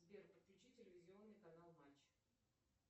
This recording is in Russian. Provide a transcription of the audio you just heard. сбер подключи телевизионный канал матч